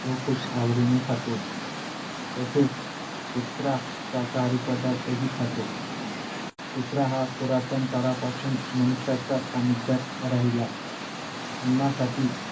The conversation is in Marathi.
तो खूप आवडीने खातो तसेच कुत्रा शाकाहारी पदार्थही खातो कुत्रा हा पुरातन काळापासून मनुष्याच्या सानिध्यात राहिला अन्नासाठी